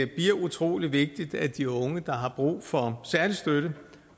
bliver utrolig vigtigt at de unge der har brug for særlig støtte